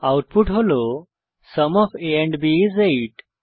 output হল sum of a and b is 8